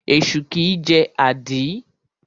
Esu kìí jẹ́ àdí.